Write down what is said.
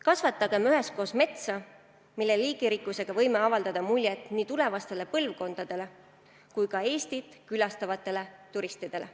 Kasvatagem üheskoos metsa, mille liigirikkusega võime avaldada muljet nii tulevastele põlvkondadele kui ka Eestit külastavatele turistidele.